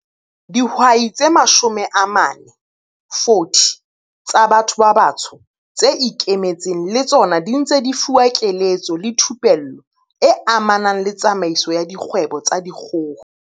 Dihwai tse 40 tsa batho ba batsho tse ikemetseng le tsona di ntse di fuwa keletso le thupello e amanang le tsamaiso ya dikgwebo tsa dikgoho.